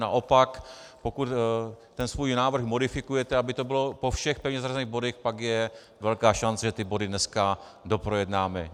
Naopak, pokud ten svůj návrh modifikujete, aby to bylo po všech pevně zařazených bodech, pak je velká šance, že ty body dneska doprojednáme.